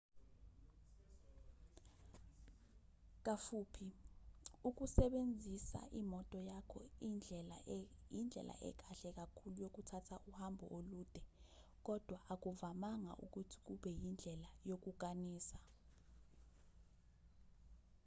kafuphi ukusebenzisa imoto yakho indlela ekahle kakhulu yokuthatha uhambo olude kodwa akuvamanga ukuthi kube yindlela yokukanisa